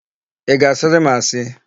Ị ga-asịrị m asị?